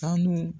Sanu